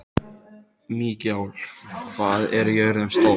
Mikjáll, hvað er jörðin stór?